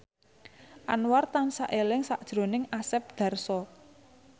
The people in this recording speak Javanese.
Anwar tansah eling sakjroning Asep Darso